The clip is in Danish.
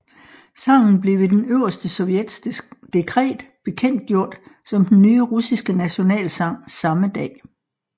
Sangen blev ved Den Øverste Sovjets dekret bekendtgjort som den nye russiske nationalsang samme dag